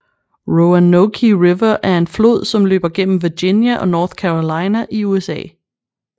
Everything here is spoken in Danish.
Roanoke River er en flod som løber gennem Virginia og North Carolina i USA